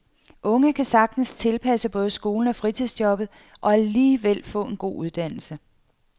Unge kan sagtens passe både skolen og fritidsjobbet og alligevel få en god uddannelse.